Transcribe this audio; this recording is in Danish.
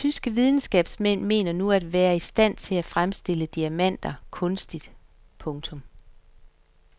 Tyske videnskabsmænd mener nu at være i stand til at fremstille diamanter kunstigt. punktum